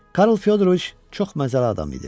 Karl Fyodoroviç çox məzəli adam idi.